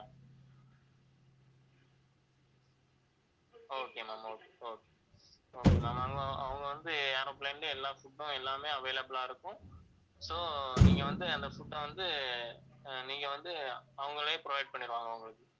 okay ma'am, okay okay okay ma'am அவங்க அவங்க வந்து aeroplane லயே எல்லா food உம் எல்லாமே available ஆ இருக்கும் so நீங்க வந்து அந்த food அ வந்து அஹ் நீங்க வந்து அவங்களே provide பண்ணிடுவாங்க உங்களுக்கு